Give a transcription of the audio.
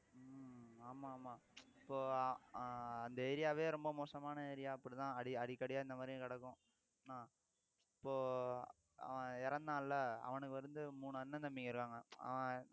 ஆமா ஆமா இப்போ ஆஹ் அந்த area வே ரொம்ப மோசமான area அப்படித்தான் அடிக்கடியா இந்த மாதிரியும் கிடக்கும் இப்போ அவன் இறந்தான்ல அவனுக்கு வந்து மூணு அண்ணன் தம்பிங்க இருக்காங்க அவன்